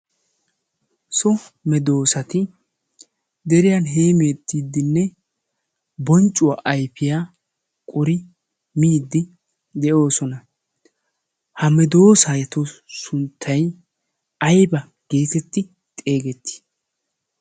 so medoosati deriyan heemeettiiddinne bonccuwaa aifiyaa qori miiddi de'oosona. ha medoosaato sunttay aiba geetetti xeegettii?